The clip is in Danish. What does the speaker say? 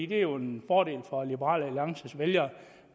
det er jo en fordel for liberal alliances vælgere